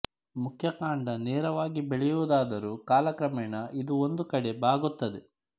ಮುಖ್ಯ ಕಾಂಡ ನೇರವಾಗಿ ಬೆಳೆಯುವುದಾದರೂ ಕಾಲಕ್ರಮೇಣ ಇದು ಒಂದು ಕಡೆ ಬಾಗುತ್ತದೆ